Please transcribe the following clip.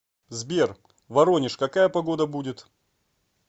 сбер воронеж какая погода будет